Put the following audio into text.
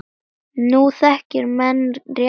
Nú þekki menn rétt sinn.